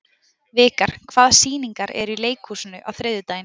Vikar, hvaða sýningar eru í leikhúsinu á þriðjudaginn?